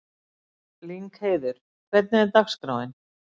Lyngheiður, hvernig er dagskráin?